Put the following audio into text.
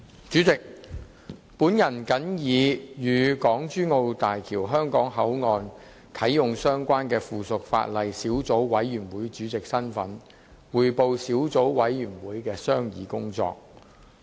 主席，我謹以與港珠澳大橋香港口岸的啟用相關的附屬法例小組委員會主席身份匯報小組委員會的商議工作。